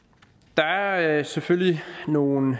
der er selvfølgelig nogle